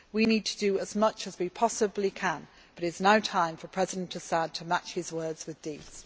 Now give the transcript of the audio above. We need to do as much as we possibly can, but it is now time for President Assad to match his words with deeds.